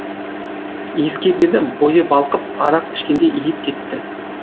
иіскеп еді бойы балқып арақ ішкендей иіп кетті